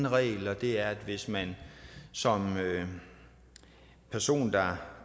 regel og det er at hvis man som person der har